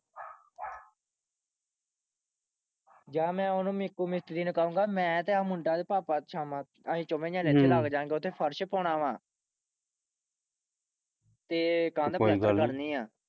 ਯਾਰ ਮੈਂ ਓਹਨੂੰ ਮਿੱਕੂ ਮਿਸਤਰੀ ਨੂੰ ਕਹੂੰਗਾ ਮੈਂ ਤੇ ਆਹ ਮੁੰਡਾ ਤੇ ਭਾਪਾ ਸ਼ਾਮਾਂ ਅਸੀਂ ਚੋਵੇਂ ਜਾਣੇ ਲੱਗ ਜਾਂਗੇ ਓਥੇ ਫਰਸ਼ ਪਾਉਣਾ ਵਾ ਤੇ ਕੰਧ